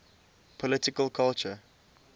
political culture